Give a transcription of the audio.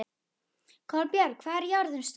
Kolbjörg, hvað er jörðin stór?